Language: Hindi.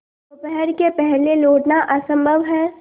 दोपहर के पहले लौटना असंभव है